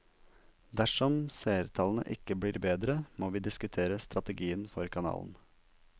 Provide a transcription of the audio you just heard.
Dersom seertallene ikke blir bedre, må vi diskutere strategien for kanalen.